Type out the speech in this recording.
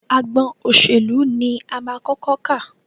Agbọn òṣèlú ní a máa kọ́kọ́ kà.